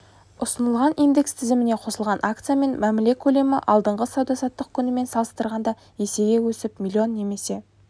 ұсынылған индекс тізіміне қосылған акциямен мәміле көлемі алдыңғы сауда-саттық күнімен салыстырғанда есеге өсіп млн немесе